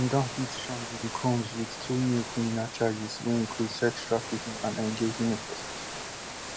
dem don hit sean diddy combs wit two new criminal charges wey include sex trafficking and engaging in prostitution